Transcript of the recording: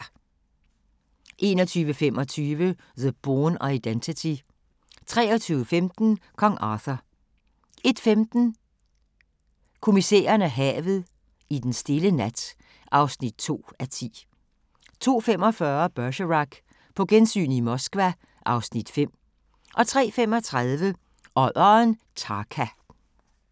21:25: The Bourne Identity 23:15: Kong Arthur 01:15: Kommissæren og havet: I denne stille nat (2:10) 02:45: Bergerac: På gensyn i Moskva (Afs. 5) 03:35: Odderen Tarka